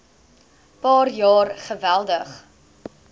paar jaar geweldig